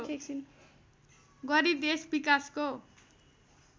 गरी देश विकासको